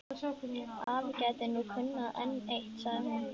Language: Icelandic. Afi gæti nú kunnað enn eitt, sagði hún.